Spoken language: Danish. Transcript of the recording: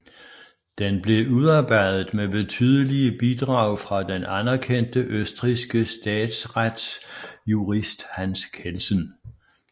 Den blev udarbejdet med betydelige bidrag fra den anerkendte østrigske statsretsjurist Hans Kelsen